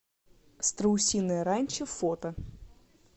страусиное ранчо фото